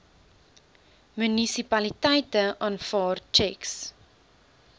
munisipaliteite aanvaar tjeks